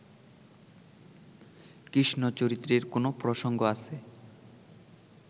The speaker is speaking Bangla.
কৃষ্ণচরিত্রের কোনও প্রসঙ্গ আছে